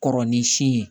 Kɔrɔ ni si ye